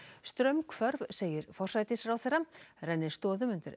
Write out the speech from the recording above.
straumhvörf segir forsætisráðherra rennir stoðum undir